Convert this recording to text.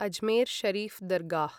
Ajmer Sharif दर्गाः